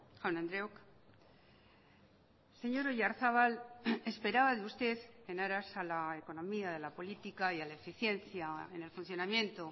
jaun andreok señor oyarzabal esperaba de usted en aras a la economía de la política y a la eficiencia en el funcionamiento